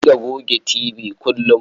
A riƙa goge tibi kullum.